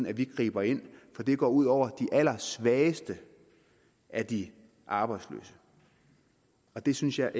at vi griber ind for det går ud over de allersvageste af de arbejdsløse det synes jeg